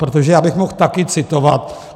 Protože já bych mohl taky citovat.